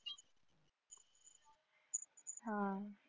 हा